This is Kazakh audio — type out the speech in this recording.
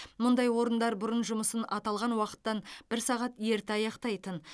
мұндай орындар бұрын жұмысын аталған уақыттан бір сағат ерте аяқтайтын